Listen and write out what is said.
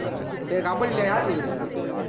சேரி கபடில யாரு team நீ